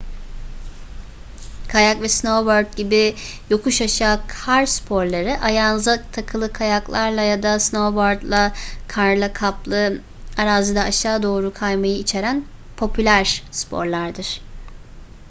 kayak ve snowboard gibi yokuş aşağı kar sporları ayağınıza takılı kayaklarla ya da snowboard'la karla kaplı arazide aşağı doğru kaymayı içeren popüler sporlardır